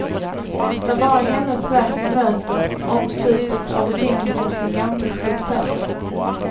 Det är bara hennes verk vi möter, omslutet av tyngden hos den gamle skulptören.